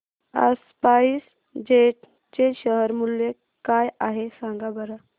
आज SpiceJet चे share मूल्य काय आहे सांगा बरं